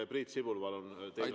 Priit Sibul, palun!